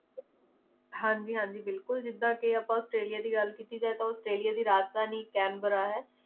ਹਾਂਜੀ ਹਾਂਜੀ ਬਿਲਕੁਲ ਜਿਦਾਂ ਕਿ ਆਪਾਂ ਔਸਟ੍ਰੇਲਿਆ ਦੀ ਗੱਲ ਕੀਤੀ ਜਾਏ ਤਾਂ ਔਸਟ੍ਰੇਲਿਆ ਦੀ ਰਾਜਧਾਨੀ canberra ਹੈ